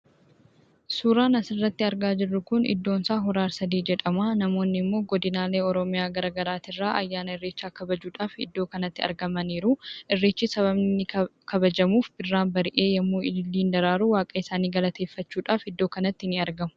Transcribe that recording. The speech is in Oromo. Suuraan asirratti argaa jirru kun iddoon isaa hora arsadee jedhama. namoonni immoo godinaalee garagaraa irraa ayyaana irreecha kabajuudhaf iddoo kanatti argamani jiru. irreechi sabaabni kabajamuuf birraan bari'ee yemmuu ililliin daraaru waaqa isaani galateeffachuudhaf iddoo kanatti ni argamu